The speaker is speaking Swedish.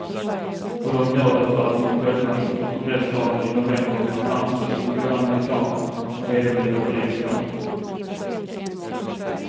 Och de gör det för att de själva inför kongressvalen i november vill framstå som goda amerikaner och hederliga politiker.